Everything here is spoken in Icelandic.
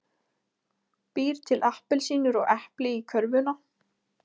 Býr til appelsínur og epli í körfuna.